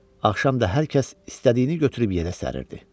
Axşam da hər kəs istədiyini götürüb yerə səririrdi.